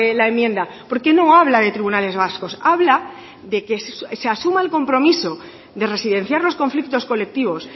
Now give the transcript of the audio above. la enmienda porque no habla de tribunales vascos habla de que se asuma el compromiso de residenciar los conflictos colectivos